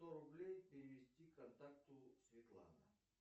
сто рублей перевести контакту светлана